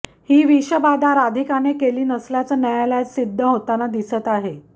ही विषबाधा राधिकाने केली नसल्याचं न्यायालयात सिद्ध होताना दिसत आहे